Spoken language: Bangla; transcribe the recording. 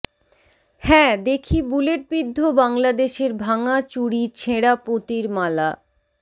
হ্যাঁ দেখি বুলেটবিদ্ধ বাংলাদেশের ভাঙ্গা চুড়ি ছেঁড়া পুঁতির মালা